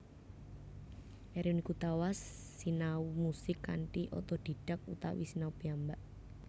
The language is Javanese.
Erwin Gutawa sinau musik kanthi otodhidhak utawi sinau piyambak